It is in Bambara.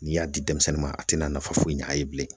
N'i y'a di denmisɛnnin ma, a te na nafa foyi ɲa a ye bilen.